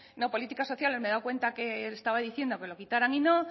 no políticas sociales me he dado cuenta que estaba diciendo que lo quitaran y no